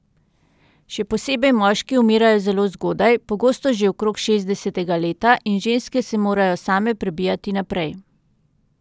Še posebej moški umirajo zelo zgodaj, pogosto že okrog šestdesetega leta, in ženske se morajo same prebijati naprej.